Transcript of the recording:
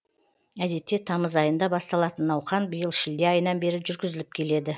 әдетте тамыз айында басталатын науқан биыл шілде айынан бері жүргізіліп келеді